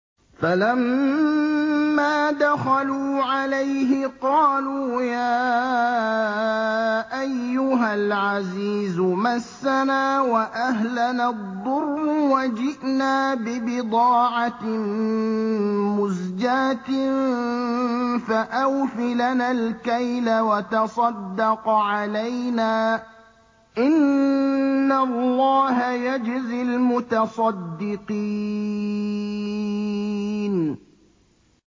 فَلَمَّا دَخَلُوا عَلَيْهِ قَالُوا يَا أَيُّهَا الْعَزِيزُ مَسَّنَا وَأَهْلَنَا الضُّرُّ وَجِئْنَا بِبِضَاعَةٍ مُّزْجَاةٍ فَأَوْفِ لَنَا الْكَيْلَ وَتَصَدَّقْ عَلَيْنَا ۖ إِنَّ اللَّهَ يَجْزِي الْمُتَصَدِّقِينَ